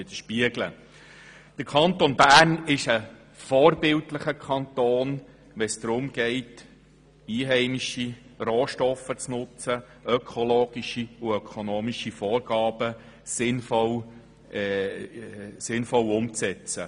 Der Kanton Bern ist vorbildlich, wenn es darum geht, einheimische Rohstoffe zu nutzen und ökologische und ökonomische Vorgaben sinnvoll umzusetzen.